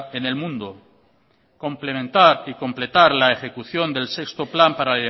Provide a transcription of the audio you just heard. en el mundo complementar y completar la ejecución del sexto plan para